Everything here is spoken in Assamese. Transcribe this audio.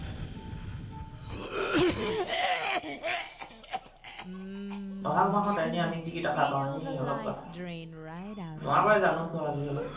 বহাগ মাহত এনেই আমি কি কি দেখা পাওঁ, এনেই অলপ কোৱাচোন? তোমাৰ পৰাই জানোচোন আজি অলপ